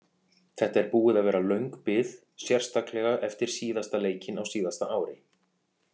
Þetta er búið að vera löng bið sérstaklega eftir síðasta leikinn á síðasta ári.